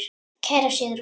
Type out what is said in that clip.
Kæra Sigrún.